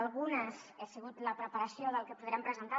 algunes han sigut la preparació del que podrem presentar